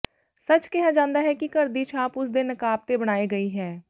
ਸੱਚ ਕਿਹਾ ਜਾਂਦਾ ਹੈ ਕਿ ਘਰ ਦੀ ਛਾਪ ਉਸ ਦੇ ਨਕਾਬ ਤੇ ਬਣਾਈ ਗਈ ਹੈ